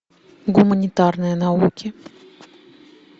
гуманитарные науки